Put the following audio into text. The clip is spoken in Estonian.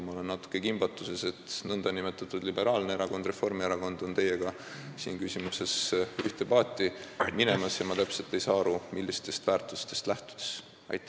Ma olen natuke kimbatuses, sest nn liberaalne erakond, Reformierakond, on selles küsimuses teiega ühte paati minemas, ja ma ei saa täpselt aru, millistest väärtustest lähtuvalt.